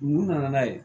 Mun nana n'a ye